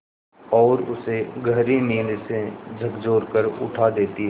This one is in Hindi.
और उसे गहरी नींद से झकझोर कर उठा देती हैं